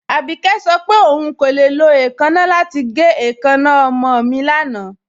Abíkẹ̀ sọ pé ọún kò le lọ èèkánna lati gẹ̀ èèkánna ọmọ mi lánà.